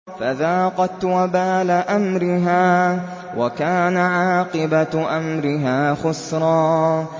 فَذَاقَتْ وَبَالَ أَمْرِهَا وَكَانَ عَاقِبَةُ أَمْرِهَا خُسْرًا